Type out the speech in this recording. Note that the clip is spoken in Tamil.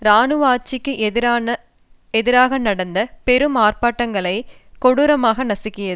இராணுவ ஆட்சிக்கு எதிராக நடந்த பெரும் ஆர்ப்பாட்டங்களை கொடூரமாக நசுக்கியது